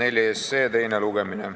Eelnõu 54 teine lugemine.